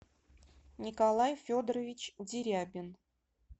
николай федорович дерябин